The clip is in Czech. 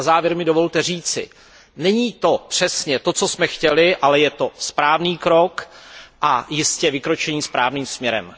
Na závěr mi dovolte říci, že to není přesně to, co jsme chtěli, ale je to správný krok a jistě vykročení správným směrem.